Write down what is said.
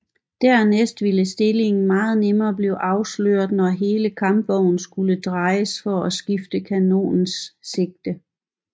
Dernæst ville stillingen meget nemmere blive afsløret når hele kampvognen skulle drejes for at skifte kanonens sigte